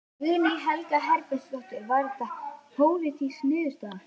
Guðný Helga Herbertsdóttir: Var þetta pólitísk niðurstaða?